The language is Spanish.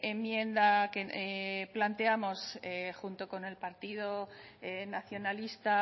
enmienda que planteamos junto con el partido nacionalista